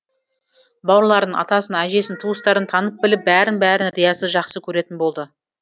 бауырларын атасын әжесін туыстарын танып біліп бәрін бәрін риясыз жақсы көретін болды